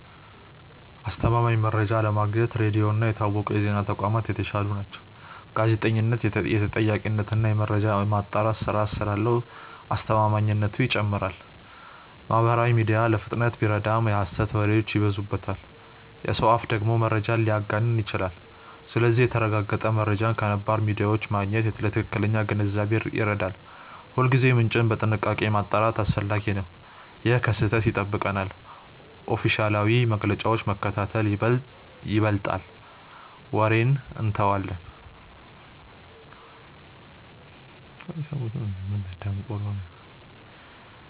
አስተማማኝ መረጃ ለማግኘት ሬዲዮ እና የታወቁ የዜና ተቋማት የተሻሉ ናቸው። ጋዜጠኝነት የተጠያቂነት እና የመረጃ ማጣራት ስርዓት ስላለው አስተማማኝነቱ ይጨምራል። ማህበራዊ ሚዲያ ለፍጥነት ቢረዳም የሐሰት ወሬዎች ይበዙበታል። የሰው አፍ ደግሞ መረጃን ሊያጋንን ይችላል። ስለዚህ የተረጋገጠ መረጃን ከነባር ሚዲያዎች ማግኘት ለትክክለኛ ግንዛቤ ይረዳል። ሁልጊዜ የመረጃ ምንጭን በጥንቃቄ ማጣራት አስፈላጊ ነው። ይህ ከስህተት ይጠብቀናል። ኦፊሴላዊ መግለጫዎችን መከታተል ይበልጣል ወሬን እንተዋለን።